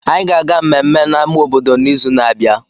Anyị ga-aga mmemme na ama obodo n'izu na-abịa